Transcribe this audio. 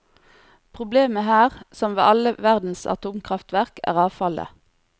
Problemet her, som ved alle verdens atomkraftverk, er avfallet.